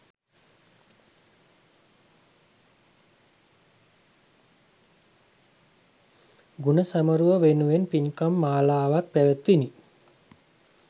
ගුණ සැමරුම වෙනුවෙන් පින්කම් මාලාවක් පැවැත්විණි